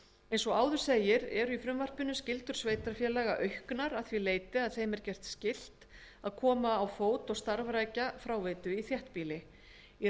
eins og áður segir eru í frumvarpinu skyldur sveitarfélaga auknar að því leyti að þeim er gert skylt að koma á fót og starfrækja fráveitu í þéttbýli í